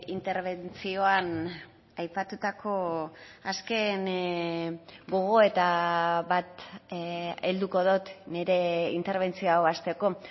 interbentzioan aipatutako azken gogoeta bat helduko dut nire interbentzioa hau hasteko